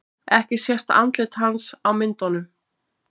Ekki sést andlit hans á myndunum